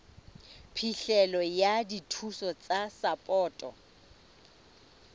phihlelo ya dithuso tsa sapoto